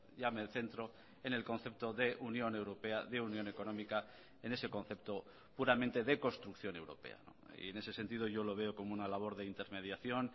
ya me centro en el concepto de unión europea de unión económica en ese concepto puramente de construcción europea y en ese sentido yo lo veo como una labor de intermediación